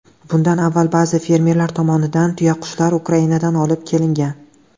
Bundan avval ba’zi fermerlar tomonidan tuyaqushlar Ukrainadan olib kelingan.